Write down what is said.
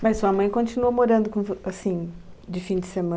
Mas sua mãe continua morando com vo, assim, de fim de semana?